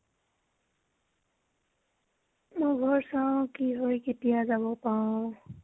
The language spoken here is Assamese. মই ঘৰ চাও কি হয় কেতিয়া যাব পাৰো।